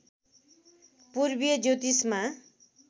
पूर्वीय ज्योतिषमा